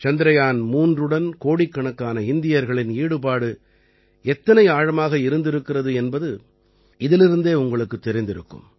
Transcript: சந்திரயான் 3உடன் கோடிக்கணக்கான இந்தியர்களின் ஈடுபாடு எத்தனை ஆழமாக இருந்திருக்கிறது என்பது இதிலிருந்தே உங்களுக்குத் தெரிந்திருக்கும்